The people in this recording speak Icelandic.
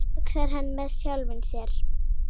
hugsar hann með sjálfum sér.